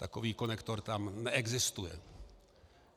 Takový konektor tam neexistuje!